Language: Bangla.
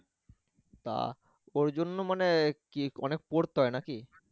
তা ওর জন্য মানে কি অনেক পড়তে হয় নাকি?